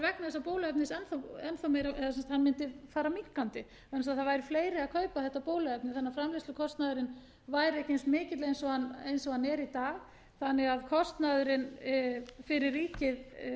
þessa bóluefnis fara minnkandi vegna þess að það væru fleiri að kaupa þetta bóluefni þannig að framleiðslukostnaðurinn væri ekki eins mikill og hann er í dag þannig að kostnaðurinn fyrir ríkið